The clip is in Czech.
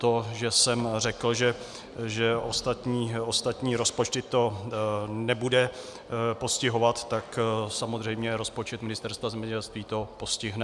To, že jsem řekl, že ostatní rozpočty to nebude postihovat, tak samozřejmě rozpočet Ministerstva zemědělství to postihne.